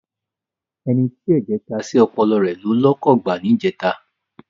Ẹni tí ẹ̀jẹ̀ ta sí ọpọlọ rẹ ló lọkọ̀ gbá níjẹta.